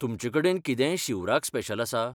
तुमचें कडेन कितेंय शिवराक स्पेशल आसा?